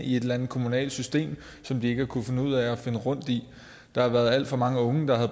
i et eller andet kommunalt system som de ikke har kunnet finde ud af at finde rundt i der har været alt for mange unge der har